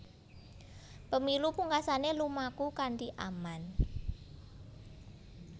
Pemilu pungkasané lumaku kanthi aman